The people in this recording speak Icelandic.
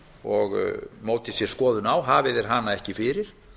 og móti sér skoðun á hafi þeir hana ekki fyrir